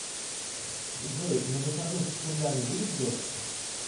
джой на выходных в кургане будет дождь